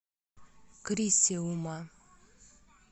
крисиума